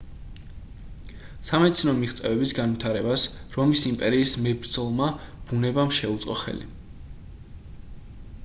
სამედიცინო მიღწევების განვითარებას რომის იმპერიის მებრძოლმა ბუნებამ შეუწყო ხელი